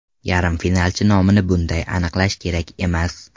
Yarim finalchi nomini bunday aniqlash kerak emas.